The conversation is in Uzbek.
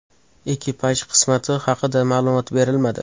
Ekipaj qismati haqida ma’lumot berilmadi.